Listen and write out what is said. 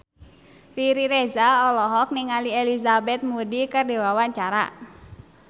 Riri Reza olohok ningali Elizabeth Moody keur diwawancara